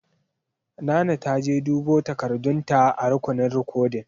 Nana ta je dubo takardun ta a rukunin rikodin.